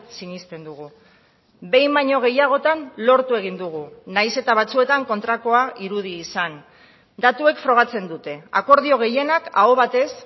sinesten dugu behin baino gehiagotan lortu egin dugu nahiz eta batzuetan kontrakoa irudi izan datuek frogatzen dute akordio gehienak aho batez